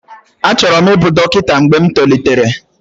Achọrọ m ịbụ dọkịta mgbe m tolitere